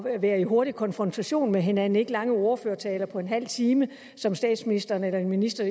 at være i hurtig konfrontation med hinanden ikke lange ordførertaler på en halv time som statsministeren eller en minister